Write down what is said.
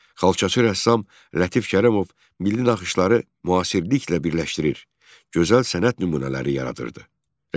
Xalçaçı rəssam Lətif Kərəmov milli naxışları müasirliklə birləşdirir, gözəl sənət nümunələri yaradırdı.